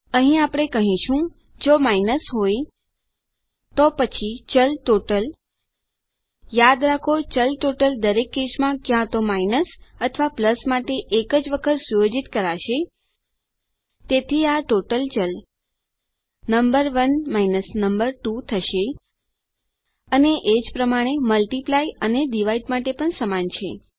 અહીં આપણે કહીશું જો માઇનસ હોય તો પછી ચલ ટોટલ યાદ રાખો ચલ ટોટલ દરેક કેસમાં ક્યાં તો માઇનસ અથવા પ્લસ માટે એક જ વખત સુયોજિત કરાશે તેથી આ ટોટલ ચલ નંબર 1 નંબર 2 થશે અને એ જ પ્રમાણે મલ્ટિપ્લાય અને ડિવાઇડ માટે પણ સમાન છે